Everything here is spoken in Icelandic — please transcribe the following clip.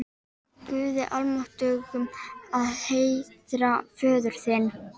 Guði almáttugum að heiðra föður þinn?